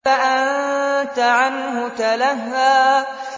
فَأَنتَ عَنْهُ تَلَهَّىٰ